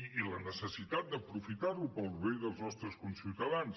i la necessitat d’aprofitar lo per al bé dels nostres ciutadans